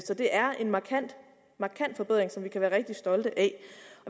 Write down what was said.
så det er en markant forbedring som vi kan være rigtig stolte af